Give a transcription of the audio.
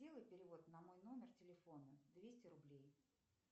сделай перевод на мой номер телефона двести рублей